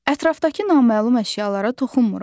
Ətrafdakı naməlum əşyalara toxunmuruq.